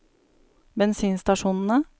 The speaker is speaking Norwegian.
bensinstasjonene